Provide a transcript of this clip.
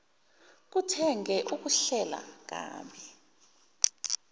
zokuthenga ukuhlela kabi